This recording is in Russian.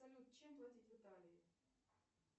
салют чем платить в италии